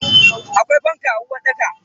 Akwai fanka a uwarɗakan?